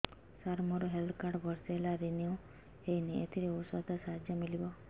ସାର ମୋର health card ବର୍ଷେ ହେଲା ରିନିଓ ହେଇନି ଏଥିରେ ଔଷଧ ସାହାଯ୍ୟ ମିଳିବ